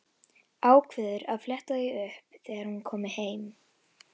Ákveður að fletta því upp þegar hún komi heim.